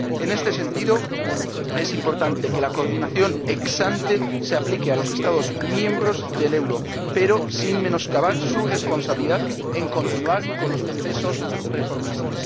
En este sentido, es importante que la coordinación ex ante se aplique a los Estados miembros del euro, pero sin menoscabar su responsabilidad en continuar con los procesos reformistas.